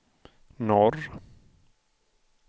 norr